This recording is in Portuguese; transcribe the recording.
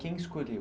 Quem escolheu?